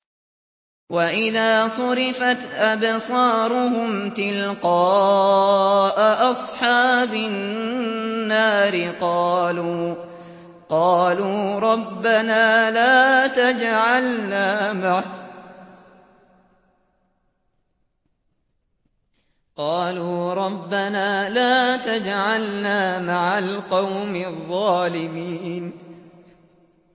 ۞ وَإِذَا صُرِفَتْ أَبْصَارُهُمْ تِلْقَاءَ أَصْحَابِ النَّارِ قَالُوا رَبَّنَا لَا تَجْعَلْنَا مَعَ الْقَوْمِ الظَّالِمِينَ